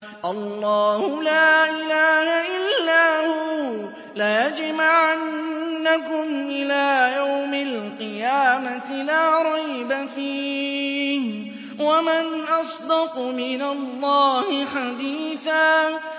اللَّهُ لَا إِلَٰهَ إِلَّا هُوَ ۚ لَيَجْمَعَنَّكُمْ إِلَىٰ يَوْمِ الْقِيَامَةِ لَا رَيْبَ فِيهِ ۗ وَمَنْ أَصْدَقُ مِنَ اللَّهِ حَدِيثًا